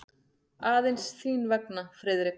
Aðeins þín vegna, Friðrik.